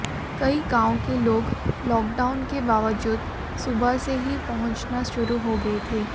कई गांवों के लोग लॉकडाउन के बावजूद सुबह से ही पहुंचना शुरू हो गए थे